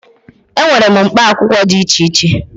E nwere mkpa akwụkwọ dị iche iche.